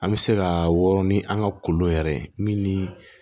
An bɛ se ka wɔrɔn ni an ka kolon yɛrɛ ye min ni